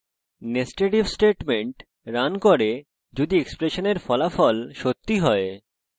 netsed if statement run করে যদি এক্সপ্রেশনের ফলাফল সত্যি হয়